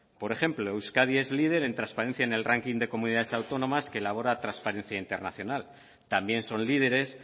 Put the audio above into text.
por ejemplo euskadi es líder en transparencia en el ranking de comunidades autónomas que elabora transparencia internacional también son líderes